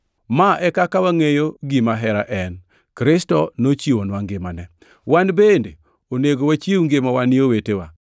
Ma e kaka wangʼeyo gima hera en; Kristo nochiwonwa ngimane. Wan bende onego wachiw ngimawa ni owetewa.